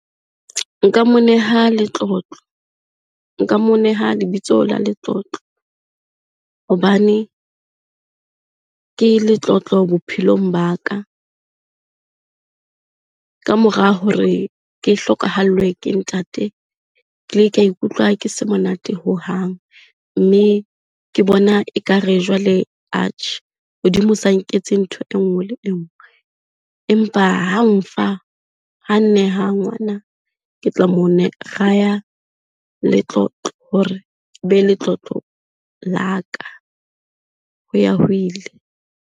Nka mo neha Letlotlo, nka mo neha lebitso la Letlotlo hobane ke letlotlo bophelong ba ka. Kamora hore ke hlokahallwe ke ntate, kile ka ikutlwa ke se monate hohang mme ke bona ekare jwale atjhe, Modimo sa nketse ntho engwe le enngwe. Empa ha nfa, ha nneha ngwana ke tla mo raya Letlotlo hore e be letlotlo la ka ho ya ho ile.